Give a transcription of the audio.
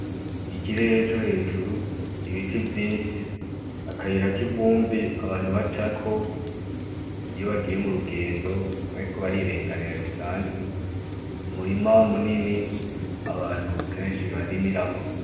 Ikirere co hejuru, ibiti vyinshi, akayira k'ivumbi abantu bacako iyo bagiye mu rugendo bariko barirenganira bisanzwe, umurima munini abantu kenshi barimirako.